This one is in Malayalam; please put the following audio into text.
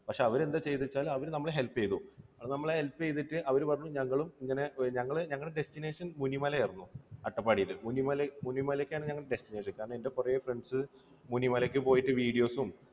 പക്ഷേ എന്താണ് ചെയ്തത് എന്ന് വെച്ചാൽ അവർ നമ്മളെ help ചെയ്തു. അവർ നമ്മളെ help ചെയ്തിട്ട് അവർ പറഞ്ഞു ഞങ്ങളും ഇങ്ങനെ, ഞങ്ങളുടെ destination മുനിമല ആയിരുന്നു. അട്ടപ്പാടിയിലെ മുനിമലമുനിമലയ്ക്കാണ് ഞങ്ങളുടെ destination കാരണം കുറെ friends മുനിമലയ്ക്ക് പോയിട്ട് video സും